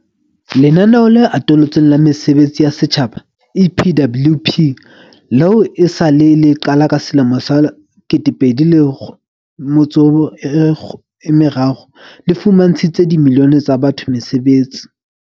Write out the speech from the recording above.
Lenaneo le Atolotsweng la Mesebetsi ya Setjhaba, EPWP, leo e sa le le qala ka selemo sa 2003, le fumantshitse dimilione tsa batho mesebetsi.